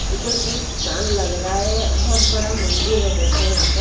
यह कोई तीर्थ स्थान लग रहा है बहुत बड़ा मंदिर है देखो यहां पे--